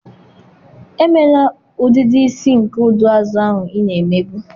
Emela udidi isi nke ụdị azụ ahụ ị na-emebu!